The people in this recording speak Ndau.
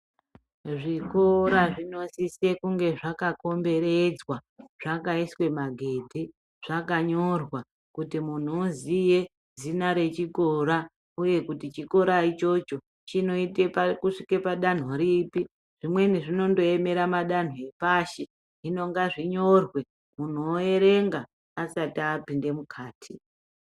Zvikora zvinosisa kunge zvakakomberedzwa zvakaiswa magedhi zvakanyora kuti muntu uziye zina rechikora uye kuti chikora ichocho chinoite pakusvike padanho ripi zvimweni zvinondoemera madanho epashi hino ngazvinyorwe muntu oerenga asati apinde mukati.